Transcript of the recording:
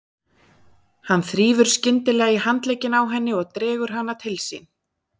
Hann þrífur skyndilega í handlegginn á henni og dregur hana til sín.